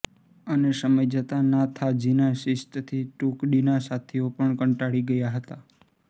અને સમય જતાં નાથાજીનાં શિસ્તથી ટુકડીના સાથીઓ પણ કંટાળી ગયા હતા